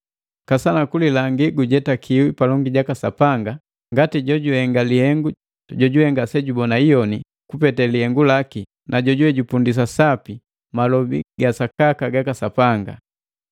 Kasana kulilangi gujetakiwi palongi jaka Sapanga ngati jojuhenga lihengu jojuwe ngasejubona iyoni kupete lihengu laki na jojuwe jupundisa sapi malobi ga sakaka gaka Sapanga.